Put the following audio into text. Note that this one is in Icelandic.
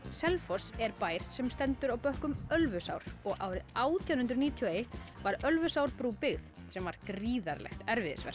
Selfoss er bær sem stendur á bökkum Ölfusár árið átján hundruð níutíu og eitt var Ölfusárbrú byggð sem var gríðarlegt